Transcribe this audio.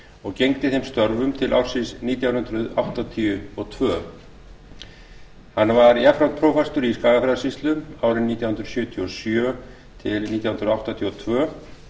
og gegndi þeim störfum til ársins nítján hundruð áttatíu og tvö hann var jafnframt prófastur í skagafjarðarsýslu árin nítján hundruð sjötíu og sjö til nítján hundruð áttatíu og tvö